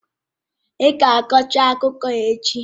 Ị ga-akọcha akụkọ a echi?